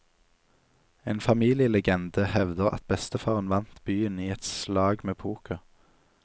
En familielegende hevder at bestefaren vant byen i et slag med poker.